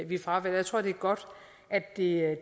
vi fravælger jeg tror det er godt at det er